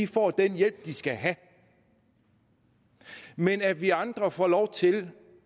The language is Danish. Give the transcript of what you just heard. får den hjælp de skal have men at vi andre får lov til